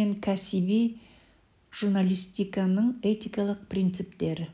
мен кәсіби журналистиканың этикалық принциптері